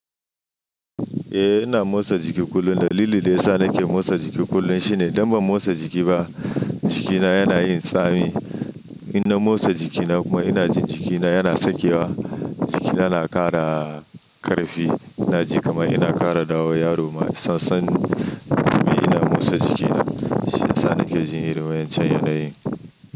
Eh ina motsa jiki kullum. Dalilin da yasa nake motsa jiki kullum shine idan ban motsa jiki ba jikina yana yin tsami. Ina motsa jikina kuma ina jin jikina yana sakewa. Jikina na ƙara ƙarfi. Ina ji kamar ina ƙara ɗawo yaro ma sassan. Domin ina motsa jikina shiyasa nake ji irin wa'ancan yanayin.